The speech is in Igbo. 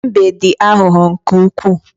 Mbe dị aghụghọ nke ukwuu.